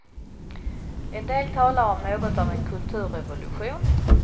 En del talar om något av en kulturrevolution.